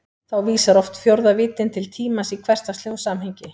Þá vísar oft fjórða víddin til tímans í hversdagslegu samhengi.